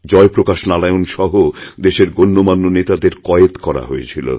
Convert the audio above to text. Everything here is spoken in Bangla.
জয়প্রকাশ নারায়ণসহ দেশের গণ্যমান্য নেতাদের কয়েদ করা হয়েছিল